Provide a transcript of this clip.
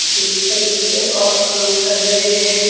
बिस्तर में भी है और काम कर रहें हैं।